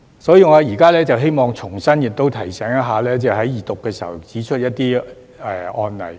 所以，我現時希望重提我在二讀時指出的一些案例。